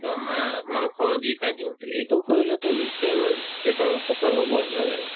একদম মাছ-মাংস দি খাই দিও কিন্তু এইটো কৰিলেতো নিশ্চয় আমাৰ পেটৰ অপকাৰ হ'ব নহয় জানো